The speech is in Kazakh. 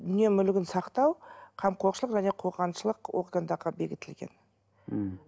дүние мүлігін сақтау қамқоршылық және қорғаншылық органдарда бекітілген мхм